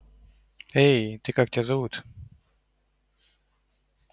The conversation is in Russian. эй ты как тебя зовут